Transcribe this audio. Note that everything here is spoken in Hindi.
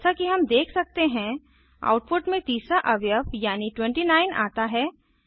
जैसा कि हम देख सकते हैं आउटपुट में तीसरा अवयव यानी 29आता है